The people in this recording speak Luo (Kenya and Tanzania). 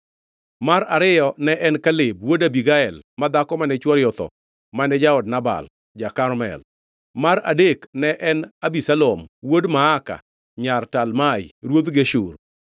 mar ariyo ne en Kileab wuod Abigael ma dhako mane chwore otho mane jaod Nabal ja-Karmel; mar adek ne en Abisalom wuod Maaka nyar Talmai ruodh Geshur;